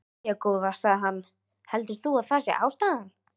Jæja, góða, sagði hann, heldurðu að það sé ástæðan?